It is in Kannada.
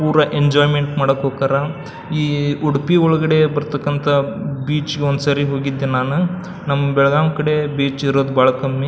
ಪೂರಾ ಎಂಜೋಯ್ಮೆಂಟ್ ಮಾಡಕ್ ಹೋತರ ಈ ಉಡುಪಿ ಒಳಗಡೆ ಬರ ತಕ್ಕಂಥ ಬೀಚ್ ಗೆ ಒಂದ್ಸರಿ ಹೋಗಿದ್ದೆ ನಾನು ನಮ್ ಬೆಳಗಾಂ ಕಡೆ ಬೀಚ್ ಇರೋದ್ ಬಹಳ ಕಮ್ಮಿ.